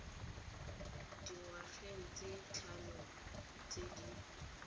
dingwageng tse tlhano tse di